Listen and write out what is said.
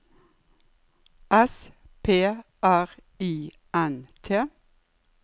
S P R I N T